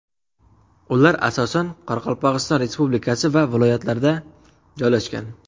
Ular asosan Qoraqalpog‘iston Respublikasi va viloyatlarda joylashgan.